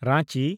Ranchi